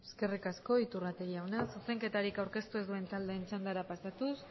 eskerrik asko iturrate jauna zuzenketarik aurkeztu ez duen taldeen txandara pasatuz